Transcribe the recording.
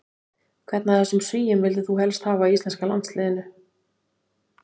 Hvern af þessum svíum vildir þú helst hafa í íslenska landsliðinu?